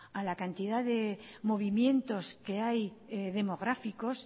a la cantidad de movimientos que hay demográficos